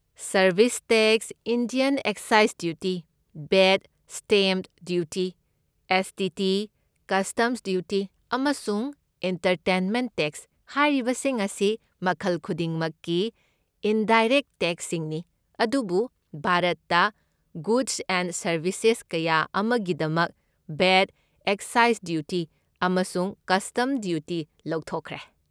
Service tax, Indian excise duty, VAT, stamp duty, S. T. T., customs duty, ꯑꯃꯁꯨꯡ entertainment tax, ꯍꯥꯏꯔꯤꯕꯁꯤꯡ ꯑꯁꯤ ꯃꯈꯜ ꯈꯨꯗꯤꯡꯃꯛꯀꯤ ꯏꯟꯗꯥꯏꯔꯦꯛꯠ ꯇꯦꯛꯁꯁꯤꯡꯅꯤ, ꯑꯗꯨꯕꯨ ꯚꯥꯔꯠꯇ ꯒꯨꯗꯁ ꯑꯦꯟ ꯁꯔꯕꯤꯁꯁꯦꯁ ꯀꯌꯥ ꯑꯃꯒꯤꯗꯃꯛ ꯚꯦꯠ, ꯑꯦꯛꯁꯁꯥꯏꯁ ꯗ꯭ꯌꯨꯇꯤ, ꯑꯃꯁꯨꯡ ꯀꯁꯇꯝꯁ ꯗ꯭ꯌꯨꯇꯤ ꯂꯧꯊꯣꯛꯈ꯭ꯔꯦ꯫